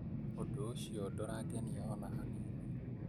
ũndũ ũcio ndũrangenia ona hanini